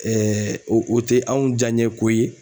o o tɛ anw jaaɲɛko ye.